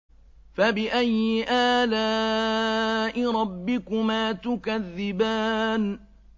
فَبِأَيِّ آلَاءِ رَبِّكُمَا تُكَذِّبَانِ